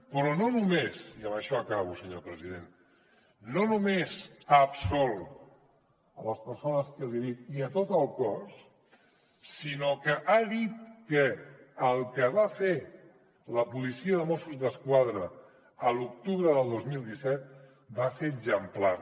però no només i amb això acabo senyor president ha absolt les persones que li dic i tot el cos sinó que ha dit que el que va fer la policia de mossos d’esquadra a l’octubre del dos mil disset va ser exemplar